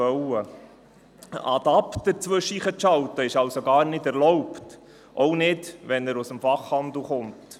Einen Adapter dazwischenzuschalten ist nicht erlaubt, auch nicht, wenn dieser aus dem Fachhandel kommt.